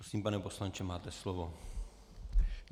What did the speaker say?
Prosím pane poslanče, máte slovo.